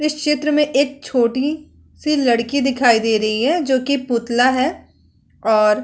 इस चित्र में एक छोटी सी लड़की दिखाई दे रही है जोकि पुतला है और --